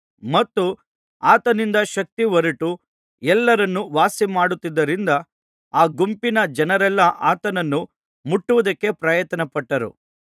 ಮತ್ತು ಆತನಿಂದ ಶಕ್ತಿ ಹೊರಟು ಎಲ್ಲರನ್ನೂ ವಾಸಿಮಾಡುತ್ತಿದ್ದುದರಿಂದ ಆ ಗುಂಪಿನ ಜನರೆಲ್ಲಾ ಆತನನ್ನು ಮುಟ್ಟುವುದಕ್ಕೆ ಪ್ರಯತ್ನಪಟ್ಟರು